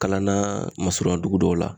Kalan na masurunya dugu dɔw la